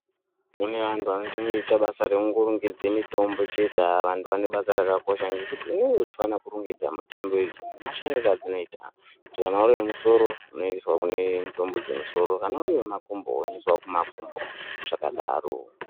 Kune antu anetenge eingoite basa rekurongedza mitombo chete. Vantu vanebasa rakakosha ngekuti unenge uchifane kurongedza mitombo iyi zvinoenderana nemashandiro edzinoita kuti kana uri wemusoro, unoiswa kune mitombo dzemusoro, kana uri wemakumbo unoiswawo kumakumbo zvakadaro.